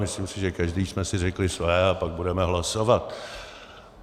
Myslím si, že každý jsme si řekli své, a pak budeme hlasovat.